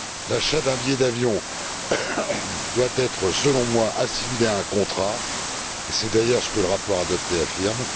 L'achat d'un billet d'avion doit être, selon moi, assimilé à un contrat, et c'est d'ailleurs ce que le rapport adopté affirme.